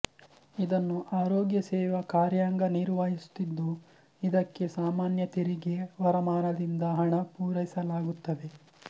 ಇದನ್ನು ಆರೋಗ್ಯ ಸೇವಾ ಕಾರ್ಯಾಂಗ ನಿರ್ವಹಿಸುತ್ತಿದ್ದುಇದಕ್ಕೆ ಸಾಮಾನ್ಯ ತೆರಿಗೆ ವರಮಾನದಿಂದ ಹಣ ಪೂರೈಸಲಾಗುತ್ತದೆ